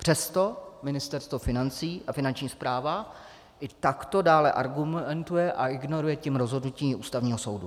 Přesto Ministerstvo financí a Finanční správa i takto dále argumentují a ignorují tím rozhodnutí Ústavního soudu.